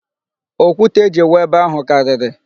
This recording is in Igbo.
Okwute e ji wụọ ebe ahụ karịrị.